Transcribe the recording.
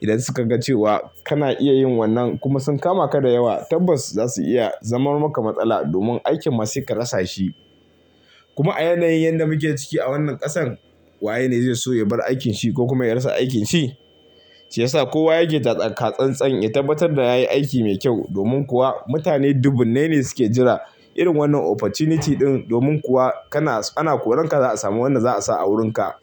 Idan suka ga cewa kana iya yin wannan kuma sun kama ka da yawa, tabbas za su iya zaman maka matsala domin aikin ma sai ka rasa shi. Kuma a yanayin yan da muke ciki a wannan ƙasan, waye ne zai so ya bar aikin shi ko kuma ya rasa aikin shi? Shiyasa kowa yake taka tsantsan ya tabbatar da yayi aiki mai kyau domin kuwa mutane dubunnai ne suke jira irin wannan opportunity ɗin. Domin kuwa kana, ana koranka za a sami wanda za a sa a wurinka.